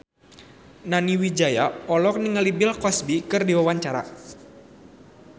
Nani Wijaya olohok ningali Bill Cosby keur diwawancara